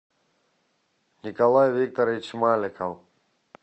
николай викторович маликов